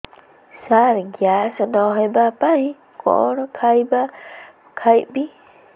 ସାର gas ନ ହେବା ପାଇଁ କଣ ଖାଇବା ଖାଇବି